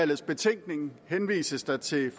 betænkning henvises der til